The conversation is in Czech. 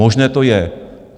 Možné to je.